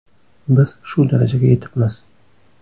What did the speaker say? Biz shu darajaga yetibmiz.